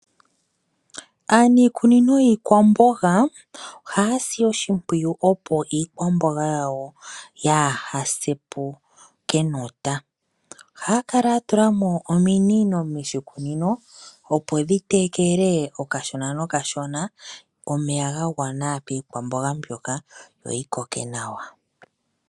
Aaniikunino yiikwamboga ohaya si oshipwiyu opo iikwamboga yawo yaa ha se po kenota. Ohaya kala yatula mo ominino moshikunino opo dhi tekele okashona nokashona omeya gagwana piikwamboga mbyoka yoyi koke nawa.